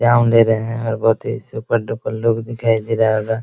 दे रहे हैं और बहुत ही सुपर डुपर लोग दिखाई दे रहा होगा।